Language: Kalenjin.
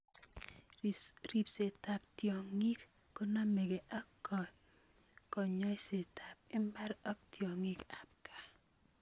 Riibseettab tyong�ik konameke ak konyoisetaab mbar ak tyong�ik aab kaa